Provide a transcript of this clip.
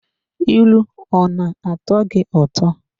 ilu ọ na-atọ gị ụtọ?